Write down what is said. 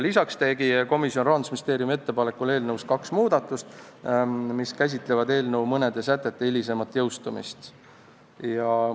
Lisaks tegi komisjon Rahandusministeeriumi ettepanekul eelnõus kaks muudatust, mis käsitlevad eelnõu mõne sätte hilisemat jõustumist.